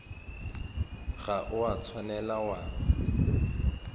ga o a tshwanela wa